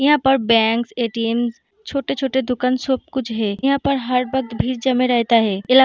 यहाँ पर bank ATM. छोटे-छोटे दुकान सब कुछ है यहाँ पर हर वक्त भीड़ जमे रहता है इला --